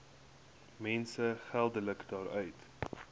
mense geldelik daaruit